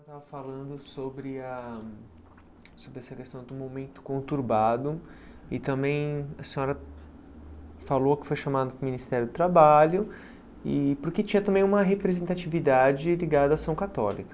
conturbado e também a senhora falou que foi chamado para o Ministério do Trabalho e porque tinha também uma representatividade ligada à ação católica.